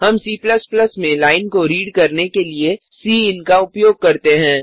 हम C में line को रीड करने के लिए सिन का उपयोग करते हैं